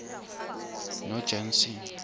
nojanson